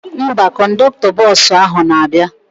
Mba, kọndọktọ bọsụ ahụ na-abịa